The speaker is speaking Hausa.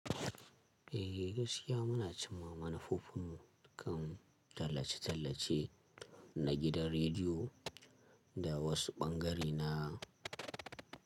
Eh gaskiya muna cimma manufofinmu kan tallace-tallace na gidan rediyo da wasu bangare na.